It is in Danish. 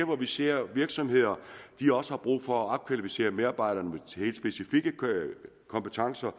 hvor vi ser at virksomheder også har brug for at opkvalificere medarbejderne til helt specifikke kompetencer